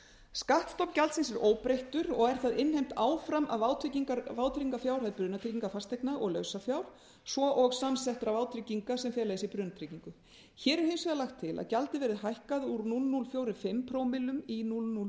skattstofn gjaldsins er óbreyttur og er það innheimt áfram af vátryggingarfjárhæð brunatryggingar fasteigna og lausafjár svo og samsettra vátrygginga sem fela í sér brunatryggingu hér er hins vegar lagt til að gjaldið verði hækkað úr núll komma núll fjörutíu og fimm prómillum í núll komma núll